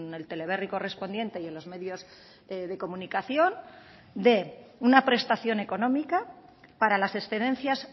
el teleberri correspondiente y en los medios de comunicación de una prestación económica para las excedencias